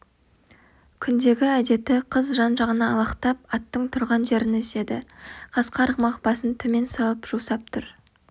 күндегі әдеті қыз жан-жағына алақтап аттың тұрған жерін іздеді қасқа арғымақ басын төмен салып жусап тұр